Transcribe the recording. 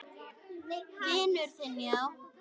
Vinur þinn, já?